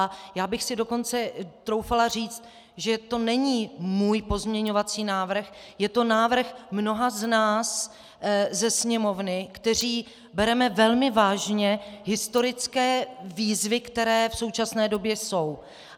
A já bych si dokonce troufala říct, že to není můj pozměňovací návrh, je to návrh mnoha z nás ze Sněmovny, kteří bereme velmi vážně historické výzvy, které v současné době jsou.